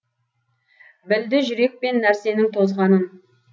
білді жүрек пен нәрсенің тозғанын